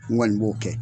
N kɔni b'o kɛ